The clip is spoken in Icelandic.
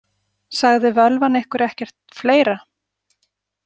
Sagði völvan ykkur ekkert fleira?